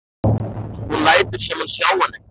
Hún lætur sem hún sjái hann ekki.